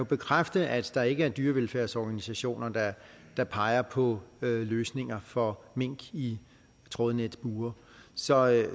bekræfte at der ikke er dyrevelfærdsorganisationer der peger på løsninger for mink i trådbure så